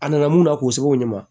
A nana mun na k'o seko ɲɛ ma